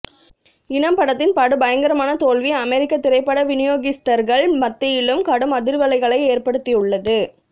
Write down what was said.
இனம் படத்தின் படு பயங்கரமான தோல்வி அமெரிக்க திரைப்பட வினியோகிஸ்தர்கள் மத்தியிலும் கடும் அதிர்வலைகளை ஏற்படுத்தியுள்ளது